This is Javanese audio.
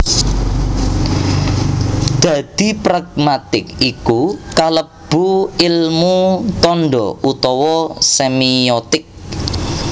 Dadi pragmatik iku kalebu ilmu tanda utawa semiotik